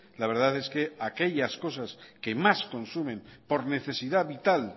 la verdad es que aquellas cosas que más consumen por necesidad vital